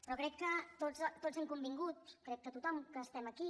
però crec que tots hem convingut crec que tothom que estem aquí